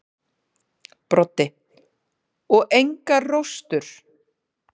Broddi: Og engar róstur.